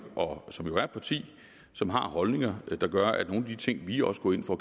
og som jo er et parti som har holdninger der gør at der er de ting vi også går ind for